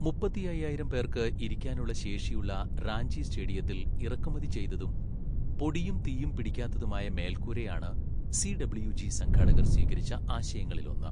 മുപ്പത്തിയയ്യായിരം പേർക്ക് ഇരിക്കാനുള്ള ശേഷിയുള്ള റാഞ്ചി സ്റ്റേഡിയത്തിൽ ഇറക്കുമതി ചെയ്തതും പൊടിയും തീയും പിടിക്കാത്തതുമായ മേൽക്കൂരയാണ് സിഡബ്ള്യുജി സംഘാടകർ സ്വീകരിച്ച ആശയങ്ങളിലൊന്ന്.